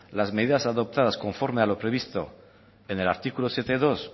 las medidas adoptadas conforme a lo previsto en el artículo siete punto dos